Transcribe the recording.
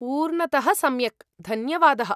पूर्णतः सम्यक्, धन्यवादः।